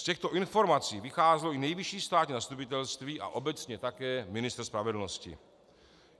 Z těchto informací vycházelo i Nejvyšší státní zastupitelství a obecně také ministr spravedlnosti.